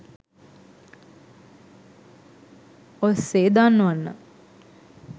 ඔස්සේ දන්වන්න.